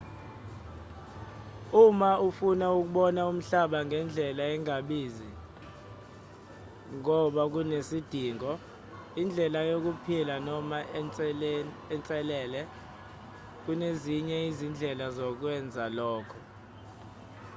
uma ufuna ukubona umhlaba ngendlela engabizi ngoba kunesidingo indlela yokuphila noma inselele kunezinye izindlela zokwenza lokho